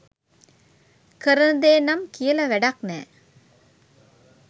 කරන දේ නම් කියල වැඩක් නෑ.